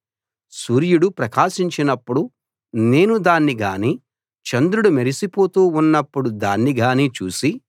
సూర్యుడు ప్రకాశించినప్పుడు నేను దాన్ని గానీ చంద్రుడు మెరిసిపోతూ ఉన్నప్పుడు దాన్ని గానీ చూసి